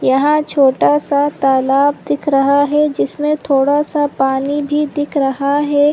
यह छोटा सा तालाब दिख रहा हे जिसमे थोड़ा सा पानी भी दिखा रहा हे ।